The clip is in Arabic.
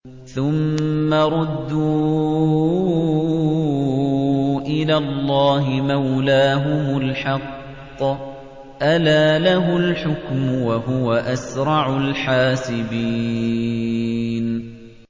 ثُمَّ رُدُّوا إِلَى اللَّهِ مَوْلَاهُمُ الْحَقِّ ۚ أَلَا لَهُ الْحُكْمُ وَهُوَ أَسْرَعُ الْحَاسِبِينَ